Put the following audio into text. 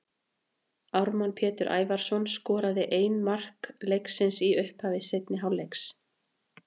Ármann Pétur Ævarsson skoraði ein mark leiksins í upphafi seinni hálfleiks.